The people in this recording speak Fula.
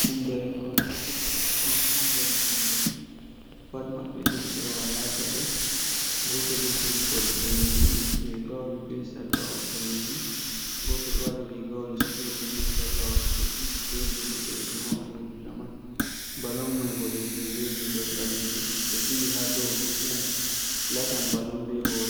Ɗon derekon ɗon fiya "balong" ha nder mbulbuldi, pat maɓɓe ɗiɗi ɓe walaa paɗe. Gooto bee toggol daneejum, riigawol bee sallawol daneejum. Gooto ɗo waɗi riigawol "cuuɗi" bee sallawol "cuuɗi" ɓe diidi boɗeejum ha ɓanndu riiga man. "Balong" may boɗeejum bee diidol ɓaleejum. Ɓe diwi ha dow ɓe fiyan ɓe latan "balong" bee hoore.